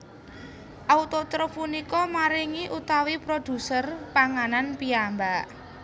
Autotrof punika maringi utawi produser panganan piyambak